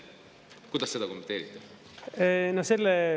Kuidas te seda kommenteerite?